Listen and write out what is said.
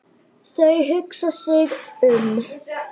Þau hugsa sig um.